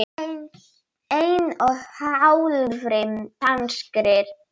einni og hálfri danskri alin